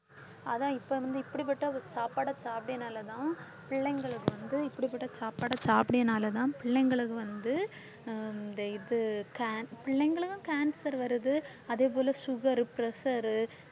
அதான் இப்ப வந்து இப்படிப்பட்ட சாப்பாடை சாப்பிட்டறதுனாலதான் பிள்ளைங்களுக்கு வந்து இப்படிப்பட்ட சாப்பாடை சாப்பிட்டறதுனாலதான் பிள்ளைங்களுக்கு வந்து இந்த இது ca~ பிள்ளைங்களுக்கும் cancer வருது அதே போல sugar, pressure